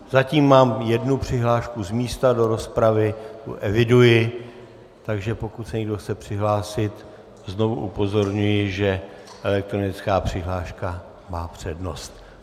Zatím mám jednu přihlášku z místa do rozpravy, tu eviduji, takže pokud se někdo chce přihlásit, znovu upozorňuji, že elektronická přihláška má přednost.